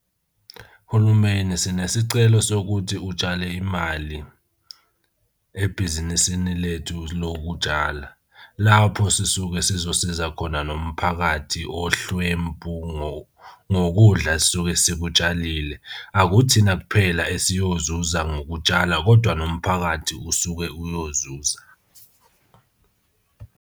Uhulumeni sinesicelo sokuthi utshale imali ebhizinisini lethu lokutshala. Lapho sisuke sizosiza khona nomphakathi ohlwempu ngokudla esisuke sikutshalile. Akuthina kuphela esiyozuza ngokutshala kodwa nomphakathi usuke uyozuza.